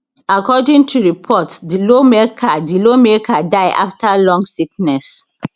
according to reports di lawmaker di lawmaker die afta long sickness